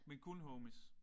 Men kun homies?